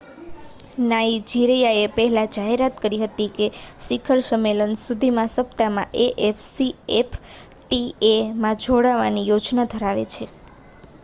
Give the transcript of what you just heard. નાઇજીરિયાએ પહેલા જાહેરાત કરી હતી કે તે શિખર સંમેલન સુધીના સપ્તાહમાં એ.એફ.સી.એફ.ટી.એ માં જોડાવાની યોજના ધરાવે છે